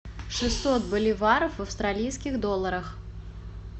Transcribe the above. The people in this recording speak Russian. шестьсот боливаров в австралийских долларах